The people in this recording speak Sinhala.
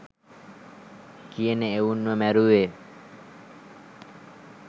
කියන එවුන්ව මැරුවේ.